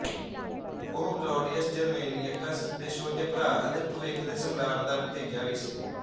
ਉਹ Claudius Germanicus ਦੇ ਛੋਟੇ ਭਰਾ ਅਤੇ ਭਵਿੱਖ ਦੇ ਸਮਰਾਟ ਦਾ ਭਤੀਜਾ ਵੀ ਸੀ